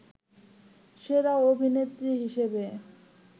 সেরা অভিনেত্রী হিসেবে